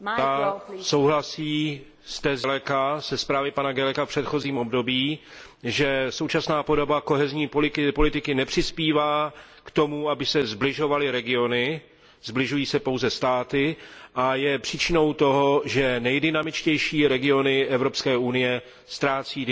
souhlasí s tezí ze zprávy pana Guelleca za předchozí období, že současná podoba kohezní politiky nepřispívá k tomu, aby se sbližovaly regiony, sbližují se pouze státy, a je příčinou toho, že nejdynamičtější regiony Evropské unie ztrácejí dynamiku.